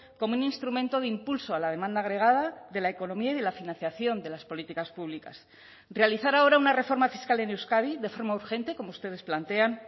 como un instrumento de impulso a la demanda agregada de la economía y la financiación de las políticas públicas realizar ahora una reforma fiscal en euskadi de forma urgente como ustedes plantean